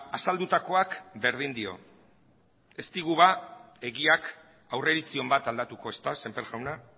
azaldutakoak berdin dio ez digu ba egiak aurreiritzi on bat aldatuko ezta semper jauna